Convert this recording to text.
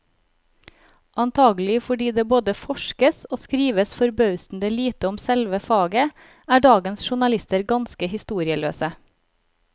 Antagelig fordi det både forskes og skrives forbausende lite om selve faget, er dagens journalister ganske historieløse.